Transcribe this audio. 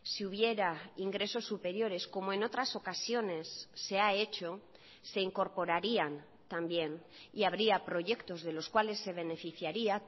si hubiera ingresos superiores como en otras ocasiones se ha hecho se incorporarían también y habría proyectos de los cuales se beneficiaría